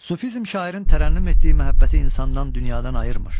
Sufizm şairin tərənnüm etdiyi məhəbbəti insandan, dünyadan ayırmır.